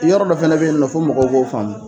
yɔrɔ dɔ fana bɛ yen fɔ mɔgɔw k'o faamu.